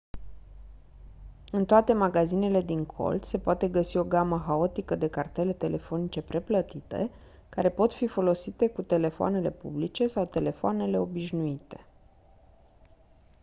în toate magazinele din colț se poate găsi o gamă haotică de cartele telefonice preplătite care pot fi folosite cu telefoanele publice sau telefoanele obișnuite